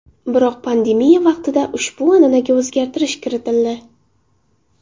Biroq pandemiya vaqtida ushbu an’anaga o‘zgartirish kiritildi.